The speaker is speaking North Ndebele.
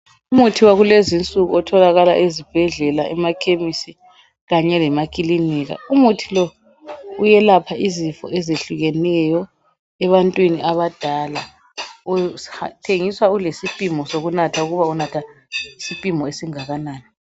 Umuthi wakulezinsuku otholakala ezibhedlela, emakhemisi kanye lemakilinika, umuthi lo! uyelapha izifo ezehlukeneyo ebantwini abadala. Uthengiswa ulesipimo sokunatha ukuba unatha isipimo esingakanani